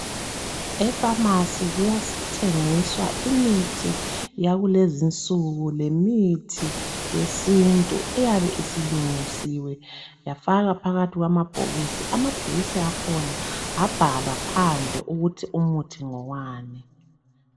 e phamarcy kuyathengiswa imithi yakulezinsuku lemthi yesintu eyabe isilungisiwe yafakwa phakathi kwamabhokisi amabhokisi akhona abhalwa phandle ukuthi umuthi ngowani